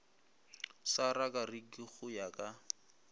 sa rakariki go ya ka